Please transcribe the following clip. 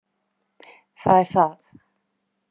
Það er það!